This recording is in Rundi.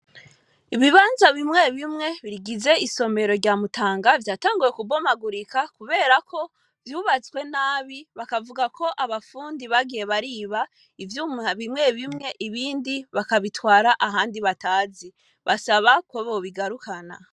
Ibibanza bimwe bimwe bigize isomero rya mutanga vyatanguwe kubomagurika, kubera ko vyubatswe nabi bakavuga ko abapfundi bagiye bariba ivyoum bimwe bimwe ibindi bakabitwara ahandi batazi basaba kobobigarukana.